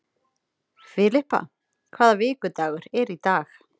Filippa, hvaða vikudagur er í dag?